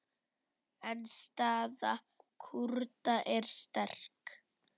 En staða Kúrda er sterk.